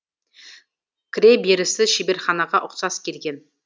кіре берісі шеберханаға ұқсас келген